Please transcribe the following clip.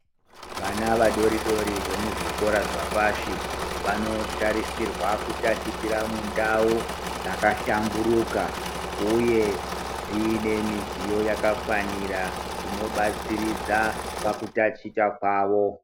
Vana vadodori vemuzvikora zvepashi vanosisirwa kutatichirwa mundau dzakahlamburuka uye dzine midziyo yakafanira dzino batsiridza pakutaticha kwawo.